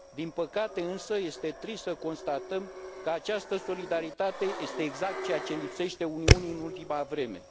Din păcate însă, este trist să constatăm că această solidaritate este exact ceea ce lipsește Uniunii în ultima vreme.